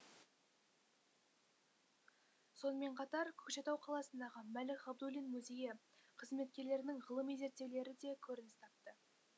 сонымен қатар көкшетау қаласындағы мәлік ғабдуллин музейі қызметкерлерінің ғылыми зерттеулері де көрініс тапты